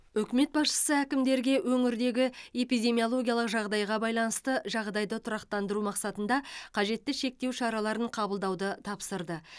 үкімет басшысы әкімдерге өңірдегі эпидемиологиялық жағдайға байланысты жағдайды тұрақтандыру мақсатында қажетті шектеу шараларын қабылдауды тапсырды